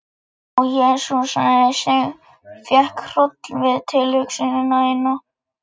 Svara þú, Láki, sagði Ingimundur og talaði til hins sveinsins.